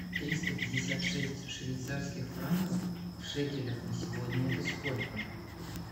триста пятьдесят шесть швейцарских франков в шекелях на сегодня это сколько